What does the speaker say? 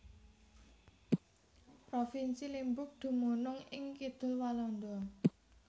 Provinsi Limburg dumunung ing kidul Walanda